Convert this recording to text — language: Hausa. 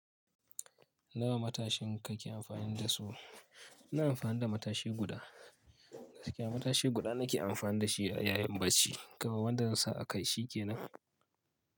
Nawa matashin ka ke amfani da su? Ina amfani da matashi guda. Gaskiya matashi guda nake amfani da shi yayin barci. Kawai wanda zan sa a kai shi kenan.